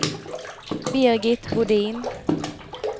Birgit Bodin